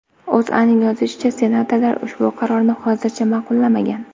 O‘zAning yozishicha , senatorlar ushbu qarorni hozircha ma’qullamagan.